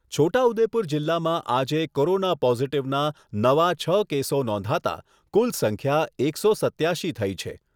છોટા ઉદેપુર જીલ્લામાં આજે કોરોના પોઝીટીવના નવાં છ કેસો નોંધાતા કુલ સંખ્યા એકસો સત્યાશી થઈ છે.